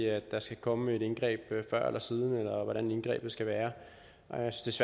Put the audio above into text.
at der skal komme et indgreb før eller siden eller om hvordan indgrebet skal være jeg synes